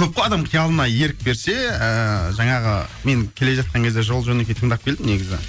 көп қой адамға тіке алдына ерік берсе ыыы жаңағы мен келе жатқан кезде жол жөнекей тыңдап келдім негізі